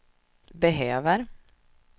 behöver